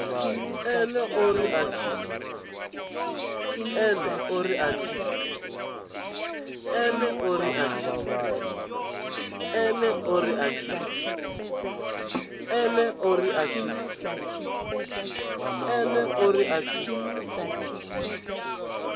ene o ri a tshi